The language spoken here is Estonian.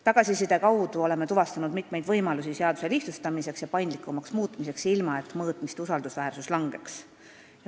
Tagasiside kaudu oleme tuvastanud mitmeid võimalusi seaduse lihtsustamiseks ja paindlikumaks muutmiseks, ilma et mõõtmiste usaldusväärsus väheneks.